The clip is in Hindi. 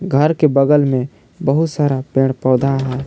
घर के बगल में बहुत सारा पेड़ पौधा है।